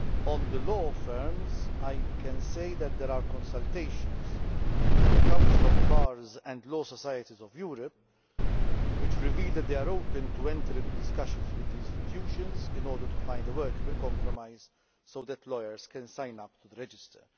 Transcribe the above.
On law firms, I can say that there are consultations with the Council of Bars and Law Societies of Europe, which reveal that they are open to enter into discussions with the institutions in order to find a workable compromise so that lawyers can sign up to the register.